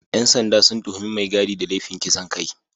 ‘Yan sanda sun tuhumi mai gadi da laifin kisan kai